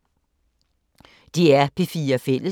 DR P4 Fælles